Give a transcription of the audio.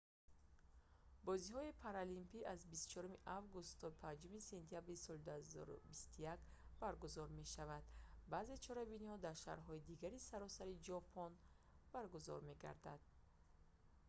бозиҳои паралимпӣ аз 24 август то 5 сентябри соли 2021 баргузор мешаванд баъзе чорабиниҳо дар шаҳрҳои дигари саросари ҷопон баргузор мегарданд